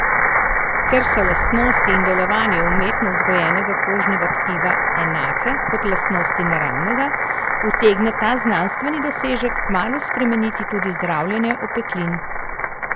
Ker so lastnosti in delovanje umetno vzgojenega kožnega tkiva enake kot lastnosti naravnega, utegne ta znanstveni dosežek kmalu spremeniti tudi zdravljenje opeklin.